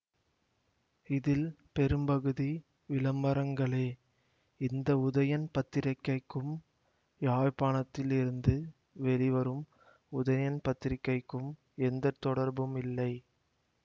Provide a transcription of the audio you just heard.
இதில் பெரும்பகுதி விளம்பரங்களே இந்த உதயன் பத்திரிக்கைக்கும் யாழ்ப்பாணத்தில் இருந்து வெளிவரும் உதயன் பத்திரிகைக்கும் எந்த தொடர்பும் இல்லை